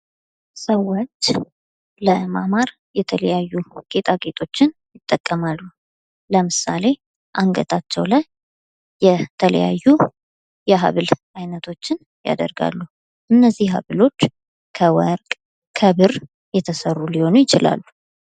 ሰወች ለማማር የተለያዩ ጌጣጌጦችን ይጠቀማሉ። ለምሳሌ አንገታቸው ላይ የተለያዩ የሐብል አይነቶችን ያደርጋሉ። እነዚህ ሀብሎች ከወርቅ፣ ከብር የተሰሩ ሊሆኑ ይችላሉ።